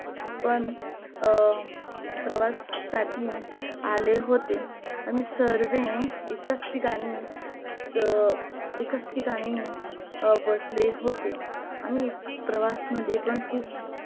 पण प्रवास साठी आले होते आम्ही सर्वे एकच ठिकाणी एकच ठिकाणी बसले होते आम्ही प्रवास मध्ये पण खूप